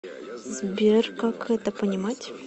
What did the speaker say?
сбер как это понимать